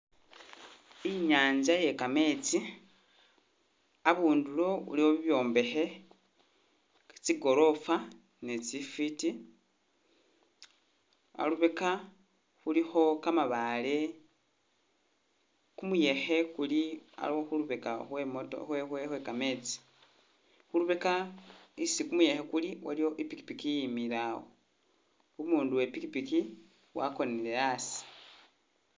Inyanza iye kametsi, abundulo waliwo i byombekhe, tsi gorofa ni tsifiti, alubeka khulikho kamabaale, kumuyekhe kuli au-khulubeka khwe moto- khwe- khwe-kametsi, khulubeka isi kumuyekhe kuli waliwo i pikipiki iyimile awo, umundu we pikipiki wakonele awo